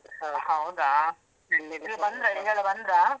ಹೌದಾ ಬಂದ್ರ ಅವರೆಲ್ಲ ಬಂದ್ರ?